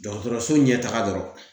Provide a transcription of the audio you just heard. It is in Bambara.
Dɔgɔtɔrɔso ɲɛtaga dɔrɔn